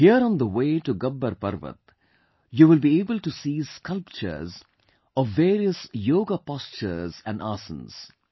Here on the way to Gabbar Parvat, you will be able to see sculptures of various Yoga postures and Asanas